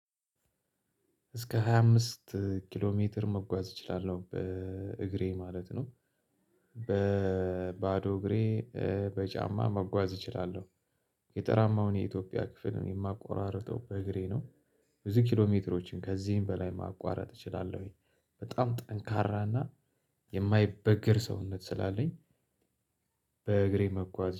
እስከ ሃያ አምስት ኪሎ ሜትር መጓዝ እችላለሁ በእግሬ ማለት ነው በባዶ እግሬ። በጫማ መጓዝ እችላለሁ። ገጠራማውን የኢትዮጵያ ክፍል ማቋርጠው በእግሬ ነው። ብዙ ኪሎሜትሮችን ከዚህም በላይ ማቋረጥ እችላለሁኝ በጣም ጠንካራና የማይበገር ሰውነት ስላለኝ። በእግሬ መጓዝ